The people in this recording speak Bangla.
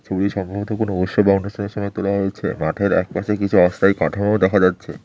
ছবি সাধারণত কোনো উৎসব বা অনুষ্ঠানের সময় তোলা হয়েছে মাঠের একপাশে কিছু অস্থায়ী কাঠামো দেখা যাচ্ছে।